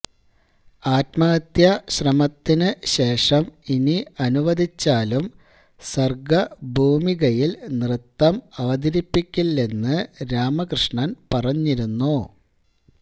ആത്മഹത്യാ ശ്രമത്തിന് ശേഷം ഇനി അനുവദിച്ചാലും സര്ഗ ഭൂമികയില് നൃത്തം അവതരിപ്പിക്കില്ലെന്ന് രാമകൃഷ്ണന് പറഞ്ഞിരുന്നു